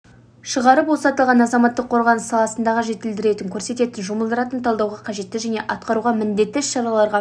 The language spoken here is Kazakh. шығарып осы аталған азаматтық қорғаныс саласындағы жетілдіретін көрсететін жұмылдырылатын талдауға қажетті және атқаруға міндетті іс-шараларға